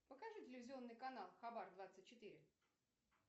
покажи телевизионный канал хабар двадцать четыре